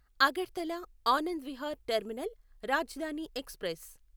Agartala Anand Vihar terminal Rajdhani express